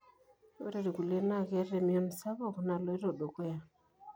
ore ilkulie na keeta emion sapuk naloito dukuya.